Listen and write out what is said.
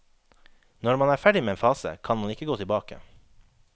Når man er ferdig med en fase, kan man ikke gå tilbake.